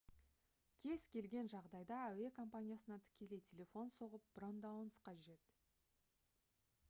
кез келген жағдайда әуе компаниясына тікелей телефон соғып брондауыңыз қажет